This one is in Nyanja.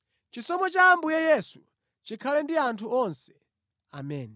Chisomo cha Ambuye Yesu chikhale ndi anthu onse. Ameni.